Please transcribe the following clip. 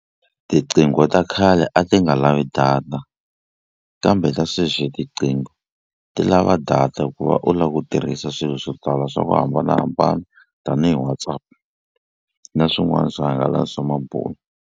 Tiqingho ta khale a ti nga lavi data kambe ta sweswi tiqingho ti lava data ku va u la ku tirhisa swilo swo tala swa ku hambanahambana tanihi WhatsApp na swin'wana swihangalasamabulo.